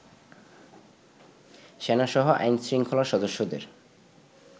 সেনাসহ আইন-শৃঙ্খলার সদস্যদের